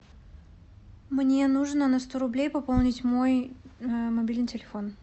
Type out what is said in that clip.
мне нужно на сто рублей пополнить мой мобильный телефон